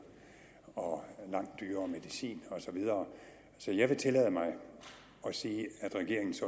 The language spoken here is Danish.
og langt dyrere medicin og så videre så jeg vil tillade mig at sige at regeringens